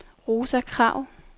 Rosa Krag